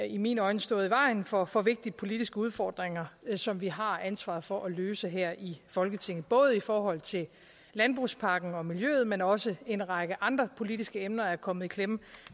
i mine øjne stået i vejen for for vigtige politiske udfordringer som vi har ansvaret for at løse her i folketinget både i forhold til landbrugspakken og miljøet men også en række andre politiske emner er kommet i klemme